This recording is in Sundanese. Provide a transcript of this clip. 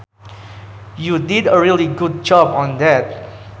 You did a really good job on that